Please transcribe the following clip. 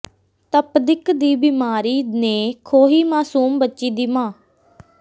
ਤਪਦਿਕ ਦੀ ਬੀਮਾਰੀ ਨੇ ਖੋਹੀ ਮਾਸੂਮ ਬੱਚੀ ਦੀ ਮਾਂ